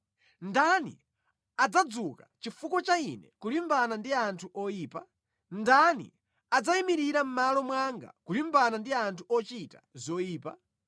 Ndani adzadzuka chifukwa cha ine kulimbana ndi anthu oyipa? Ndani adzayimirira mʼmalo mwanga kulimbana ndi anthu ochita zoyipa?